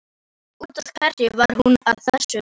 En út af hverju var hún að þessu?